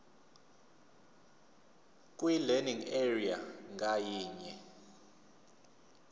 kwilearning area ngayinye